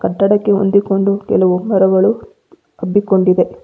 ಕಟ್ಟಡಕ್ಕೆ ಹೊಂದಿಕೊಂಡು ಕೆಲವು ಮರಗಳು ಹಬ್ಬಿಕೊಂಡಿದೆ.